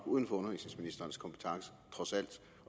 uden for undervisningsministerens kompetence